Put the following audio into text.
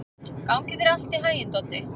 Gangi þér allt í haginn, Doddi.